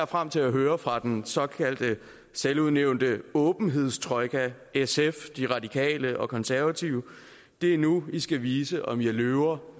frem til at høre fra den såkaldte selvudnævnte åbenhedstrojka sf de radikale og de konservative det er nu i skal vise om i er løver